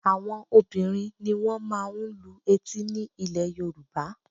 Àwọn obìnrin ni wọ́n máa ń lu etí ní ilẹ̀ Yorùbá